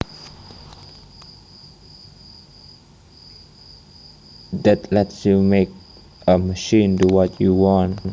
that lets you make a machine do what you want